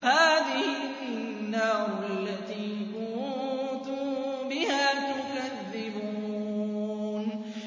هَٰذِهِ النَّارُ الَّتِي كُنتُم بِهَا تُكَذِّبُونَ